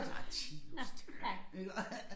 Ej ti nu stille iggå